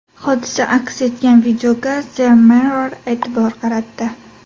Hodisa aks etgan videoga The Mirror e’tibor qaratdi .